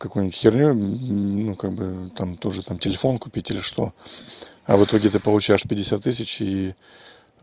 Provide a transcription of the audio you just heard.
какую-нибудь херню ну как бы там тоже там телефон купить или что а в итоге ты получаешь пятьдесят тысяч и